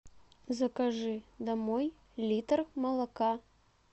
закажи домой литр молока